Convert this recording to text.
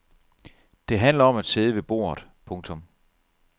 Det handlede om at sidde ved bordet. punktum